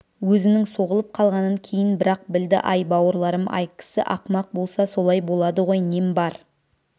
өзінің соғылып қалғанын кейін бірақ білді ай бауырларым-ай кісі ақымақ болса солай болады ғой нем бар